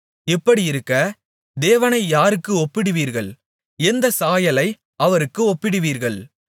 இப்படியிருக்க தேவனை யாருக்கு ஒப்பிடுவீர்கள் எந்தச் சாயலை அவருக்கு ஒப்பிடுவீர்கள்